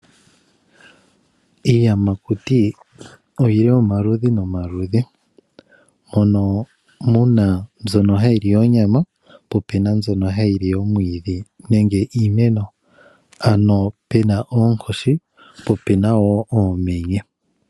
Iiyamakuti oyi li omaludhi nomaludhi , mono muna mbyono ha yi li onyama, po opena mbyono ha yi li oomwiidhi nenge iimeno ano pena oonkoshi pi opena woo oomenye.